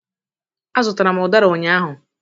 Azụtara m udara ụnyahụ